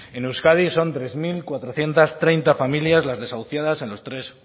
en euskadi son tres mil cuatrocientos treinta familias las desahuciadas en los tres